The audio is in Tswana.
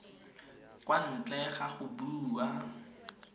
kwa ntle ga go bua